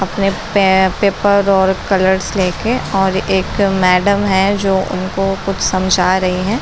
अपने पे-पेपर और कलर्स ले के और एक मैडम हैं जो उनको कुछ समझा रही हैं |